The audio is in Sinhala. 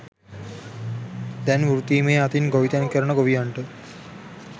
දැන් වෘතීමය අතින් ගොවිතැන් කරන ගොවියන්ට